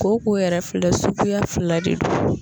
Ko ko yɛrɛ fila suguya fila de don